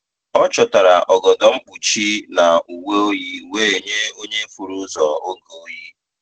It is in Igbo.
Ọ chọtara ogodo mkpuchi na uwe oyi wee nye onye furu ụzọ oge oyi.